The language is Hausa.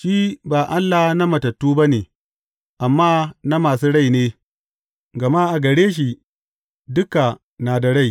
Shi ba Allah na matattu ba ne, amma na masu rai ne, gama a gare shi, duka na da rai.